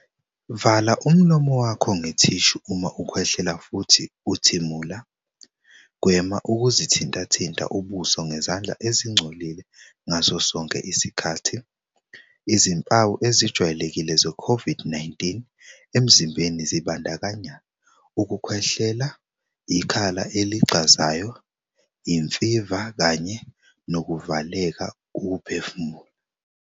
Vala umlomo wakho ngethishu uma ukhwehlela futhi uthimula. Gwema ukuzithintathinta ubuso ngezandla ezingcolile ngaso sonke isikhathi. Izimpawu ezijwayelekile zeCOVID-19 emzimbeni zibandakanya ukukhwehlela, ikhala eligxazayo, imfiva kanye nokuvaleka ukuphefumula.